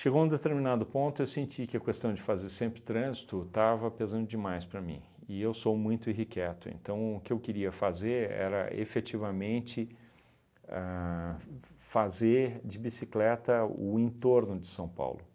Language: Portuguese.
Chegou um determinado ponto eu senti que a questão de fazer sempre trânsito estava pesando demais para mim e eu sou muito irrequieto, então o que eu queria fazer era efetivamente a f fazer de bicicleta o entorno de São Paulo.